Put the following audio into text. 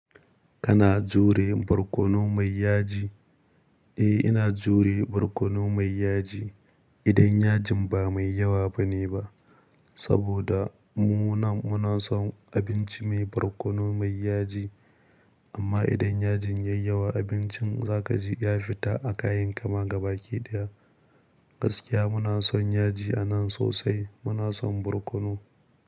Kana jure barkono mai yaji? Eh, ina jure barkono mai yaji. Idan yajin ba mai yawa bane ba. Saboda mu na munason abinci mai barkono mai yaji. Amma idan yajin yayi yawa abincin za ka ji ya fita a kayan ka ma gaba ki daya. Gaskiya muna son yaji a nan sosai. Muna son barkono.